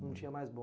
Não tinha mais